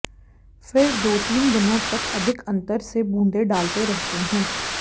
फिर दो तीन दिनों तक अधिक अंतर से बूँदें डालते रहते हैं